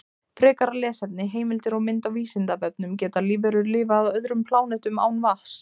Frekara lesefni, heimildir og mynd á Vísindavefnum: Geta lífverur lifað á öðrum plánetum án vatns?